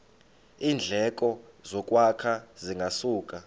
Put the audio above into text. iindleko zokwakha zingasuka